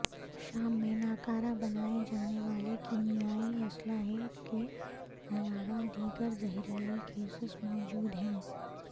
شام میں ناکارہ بنائے جانے والے کیمیائی اسلحے کے علاوہ دیگر زہریلی گیسیں موجود ہیں